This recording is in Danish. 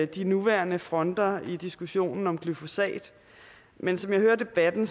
de nuværende fronter i diskussionen om glyfosat men som jeg hører debatten